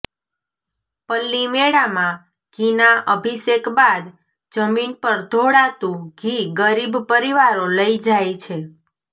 પલ્લીમેળામાં ઘીના અભિષેક બાદ જમીન પર ઢોળાતુ ઘી ગરીબ પરિવારો લઇ જાય છે